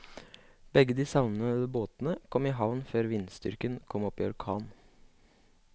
Begge de savnede båtene kom i havn før vindstyrken kom opp i orkan.